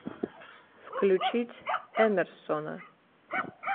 включить эмерсона